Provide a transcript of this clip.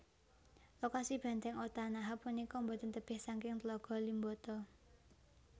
Lokasi Bèntèng Otanaha punika boten tebih saking Tlaga Limboto